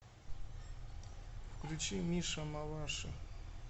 включи миша маваши